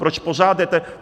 Proč pořád jdete...